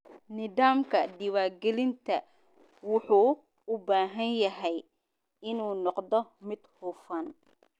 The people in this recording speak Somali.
Nidaamka diiwaangelinta wuxuu u baahan yahay inuu noqdo mid hufan.